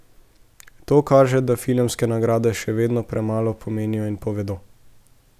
To kaže, da filmske nagrade še vedno premalo pomenijo in povedo.